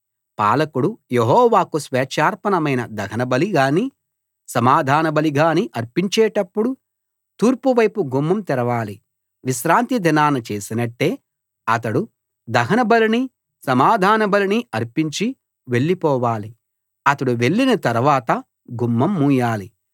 పాలకుడు యెహోవాకు స్వేచ్ఛార్పణమైన దహనబలి గాని సమాధానబలి గాని అర్పించేటప్పుడు తూర్పు వైపు గుమ్మం తెరవాలి విశ్రాంతి దినాన చేసినట్టే అతడు దహనబలిని సమాధానబలిని అర్పించి వెళ్లిపోవాలి అతడు వెళ్లిన తరవాత గుమ్మం మూయాలి